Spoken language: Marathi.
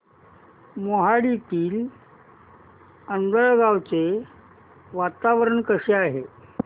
मोहाडीतील आंधळगाव चे वातावरण कसे आहे